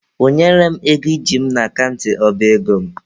Kwụnyere m ego iji m n'akant ọba ego m!.